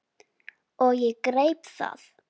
Og ég greip það.